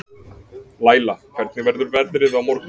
Læla, hvernig verður veðrið á morgun?